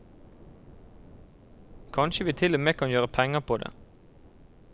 Kanskje vi til og med kan gjøre penger på det.